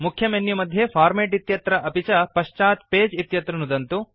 मुख्यमेनुमध्ये format इत्यत्र अपि च पश्चात् पगे इत्यत्र नुदन्तु